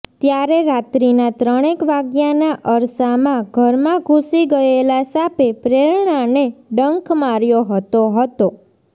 ત્યારે રાત્રીના ત્રણેક વાગ્યાના અરસામાં ઘરમાં ઘુસી ગયેલા સાપે પ્રેરણાને ડંખ માર્યો હતો હતો